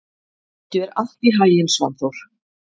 Gangi þér allt í haginn, Svanþór.